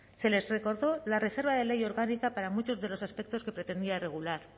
se les recordó la reserva de ley orgánica para muchos de los aspectos que pretendía regular